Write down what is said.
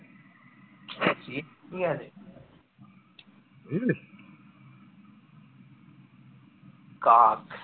কাক